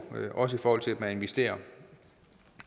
også i forhold til at man investerer